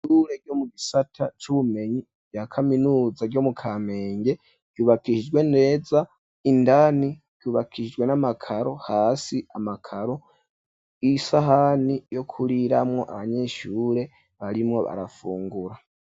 Ishure ryo mu gisata c'ubumenyi rya kaminuza ryo mu kamenge ryubakishijwe neza indani ryubakishijwe n'amakaro hasi amakaro isahani yo kuriramwo abanyeshure barimwo barafungura.